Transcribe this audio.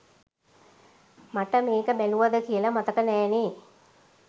මට මෙක බැලුවද කියලා මතක නැනේ